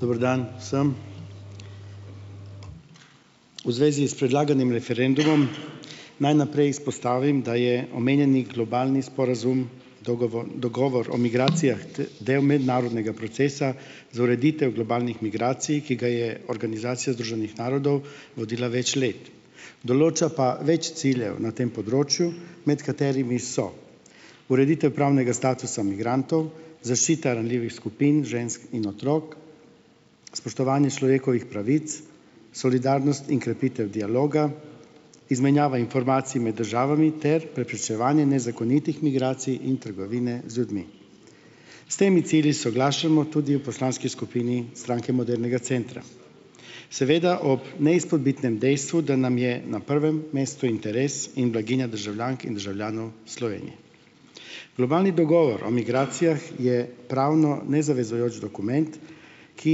Dober dan vsem. V zvezi s predlaganim referendumom naj najprej izpostavim, da je omenjeni globalni sporazum, dogovor, dogovor o migracijah del mednarodnega procesa za ureditev globalnih migracij, ki ga je Organizacija združenih narodov vodila več let. Določa pa več ciljev na tem področju, med katerimi so: ureditev pravnega statusa migrantov, zaščita ranljivih skupin - žensk in otrok, spoštovanje človekovih pravic, solidarnost in krepitev dialoga, izmenjava informacij med državami ter preprečevanje nezakonitih migracij in trgovine z ljudmi. S temi cilji soglašamo tudi v poslanski skupini Stranke modernega centra. Seveda ob neizpodbitnem dejstvu, da nam je na prvem mestu interes in blaginja državljank in državljanov Slovenije. Globalni dogovor o migracijah je pravno nezavezujoč dokument, ki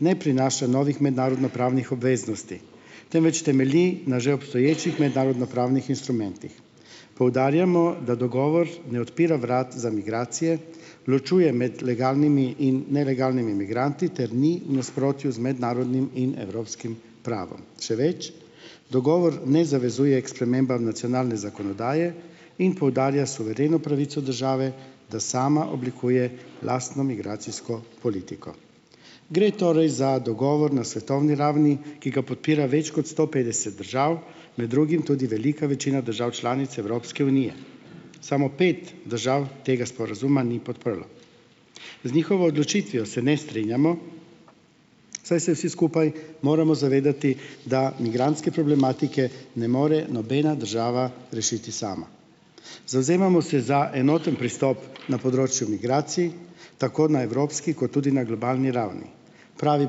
ne prinaša novih mednarodnopravnih obveznosti, temveč temelji na že obstoječih mednarodnopravnih instrumentih. Poudarjamo, da dogovor ne odpira vrat za migracije, ločuje med legalnimi in nelegalnimi migranti ter ni v nasprotju z mednarodnim in evropskim pravom. Še več, dogovor ne zavezuje k spremembam nacionalne zakonodaje in poudarja suvereno pravico države, da sama oblikuje lastno migracijsko politiko. Gre torej za dogovor na svetovni ravni, ki ga podpira več kot sto petdeset držav, med drugim tudi velika večina držav članic Evropske unije, samo pet držav tega sporazuma ni podprlo. Z njihovo odločitvijo se ne strinjamo, saj se vsi skupaj moramo zavedati, da migrantske problematike ne more nobena država rešiti sama. Zavzemamo se za enoten pristop na področju migracij, tako na evropski kot tudi na globalni ravni. Pravi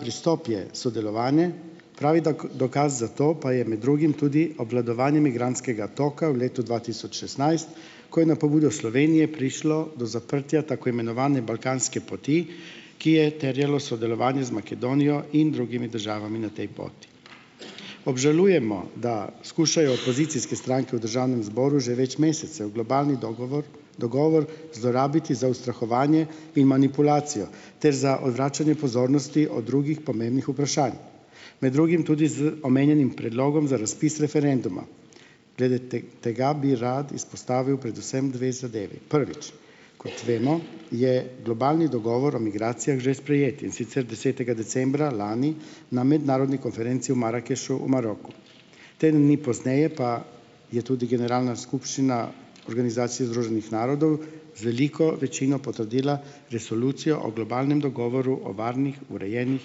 pristop je sodelovanje. Pravi dokaz za to pa je med drugim tudi obvladovanje migrantskega toka v letu dva tisoč šestnajst, ko je na pobudo Slovenije prišlo do zaprtja tako imenovane balkanske poti, ki je terjalo sodelovanje z Makedonijo in drugimi državami na tej poti. Obžalujemo, da skušajo opozicijske stranke v državnem zboru že več mesecev globalni dogovor dogovor zlorabiti za ustrahovanje in manipulacijo ter za odvračanje pozornosti od drugih pomembnih vprašanj, med drugim tudi z omenjenim predlogom za razpis referenduma. Glede tega bi rad izpostavil predvsem dve zadevi. Prvič, kot vemo, je globalni dogovor o migracijah že sprejet, in sicer desetega decembra lani na mednarodni konferenci v Marakešu, v Maroku. Teden dni pozneje pa je tudi Generalna skupščina Organizacije združenih narodov z veliko večino potrdila Resolucijo o globalnem dogovoru o varnih, urejenih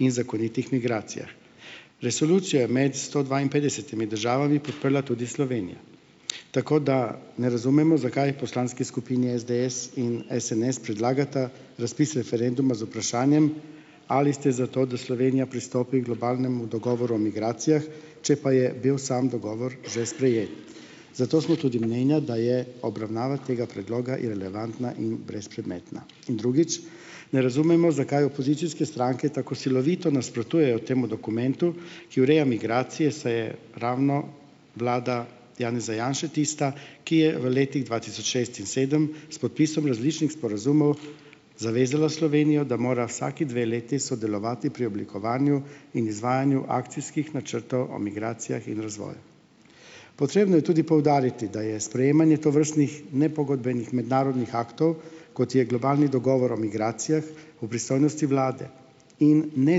in zakonitih migracijah. Resolucijo je med sto dvainpetdesetimi državami podprla tudi Slovenija. Tako da ne razumemo, zakaj poslanski skupini SDS in SNS predlagata razpis referenduma z vprašanjem: "Ali ste za to, da Slovenija pristopi h globalnemu dogovoru o migracijah," če pa je bil sam dogovor že sprejet. Zato smo tudi mnenja, da je obravnava tega predloga irelevantna in brezpredmetna. Drugič, ne razumemo, zakaj opozicijske stranke tako silovito nasprotujejo temu dokumentu, ki ureja migracije, saj je ravno vlada Janeza Janše tista, ki je v letih dva tisoč šest in sedem s podpisom različnih sporazumov zavezala Slovenijo, da mora vsaki dve leti sodelovati pri oblikovanju in izvajanju akcijskih načrtov o migracijah in razvoju. Potrebno je tudi poudariti, da je sprejemanje tovrstnih nepogodbenih mednarodnih aktov, kot je globalni dogovor o migracijah, v pristojnosti vlade in ne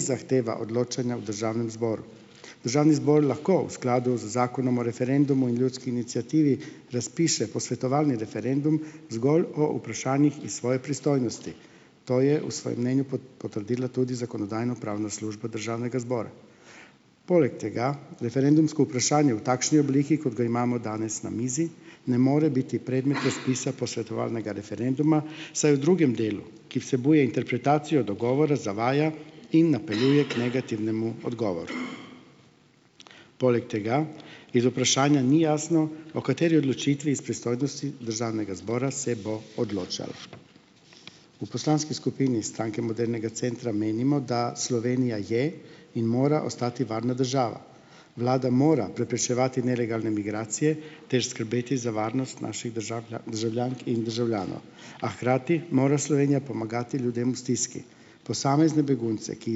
zahteva odločanja v državnem zboru. Državni zbor lahko v skladu z Zakonom o referendumu in ljudski iniciativi razpiše posvetovalni referendum zgolj o vprašanjih iz svoje pristojnosti, to je v svojem mnenju potrdila tudi zakonodajno-pravna služba državnega zbora. Poleg tega referendumsko vprašanje v takšni obliki, kot ga imamo danes na mizi, ne more biti predmet razpisa posvetovalnega referenduma, saj v drugem delu, ki vsebuje interpretacijo dogovora, zavaja in napeljuje k negativnemu odgovoru. Poleg tega iz vprašanja ni jasno, o kateri odločitvi iz pristojnosti državnega zbora se bo odločalo. V poslanski skupini Stranke modernega centra menimo, da Slovenija je in mora ostati varna država. Vlada mora preprečevati nelegalne migracije ter skrbeti za varnost naših državljank in državljanov, a hkrati mora Slovenija pomagati ljudem v stiski. Posamezne begunce, ki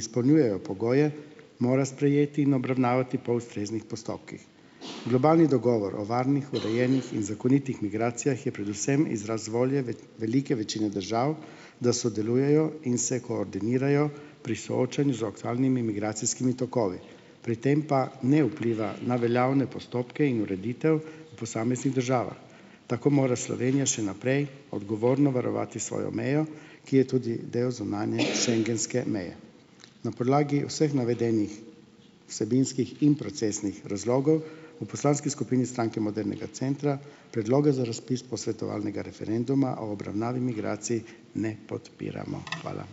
izpolnjujejo pogoje, mora sprejeti in obravnavati po ustreznih postopkih. Globalni dogovor o varnih, urejenih in zakonitih migracijah je predvsem izraz volje velike večine držav, da sodelujejo in se koordinirajo pri soočanju z aktualnimi migracijskimi tokovi. Pri tem pa ne vpliva na veljavne postopke in ureditev v posameznih državah. Tako mora Slovenija še naprej odgovorno varovati svojo mejo, ki je tudi del zunanje schengenske meje. Na podlagi vseh navedenih vsebinskih in procesnih razlogov v poslanski skupini Stranke modernega centra Predloga za razpis posvetovalnega referenduma o obravnavi migracij ne podpiramo. Hvala.